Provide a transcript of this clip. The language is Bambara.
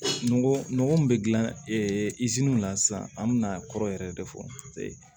Nɔgɔ nɔgɔ min bɛ dilan la sisan an bɛ na kɔrɔ yɛrɛ de fɔ paseke